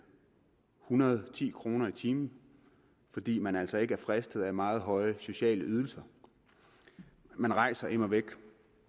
hundrede og ti kroner i timen fordi man altså ikke er fristet af meget høje sociale ydelser man rejser immer væk